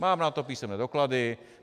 Mám na to písemné doklady.